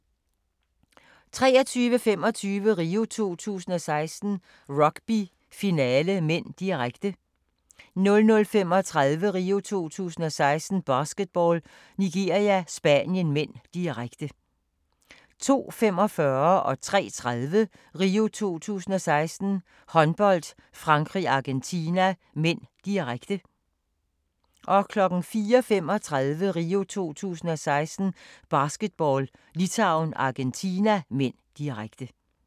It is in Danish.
23:25: RIO 2016: Rugby - finale (m), direkte 00:35: RIO 2016: Basketball - Nigeria-Spanien (m), direkte 02:45: RIO 2016: Håndbold - Frankrig-Argentina (m), direkte 03:30: RIO 2016: Håndbold - Frankrig-Argentina (m), direkte 04:35: RIO 2016: Basketball - Litauen-Argentina (m), direkte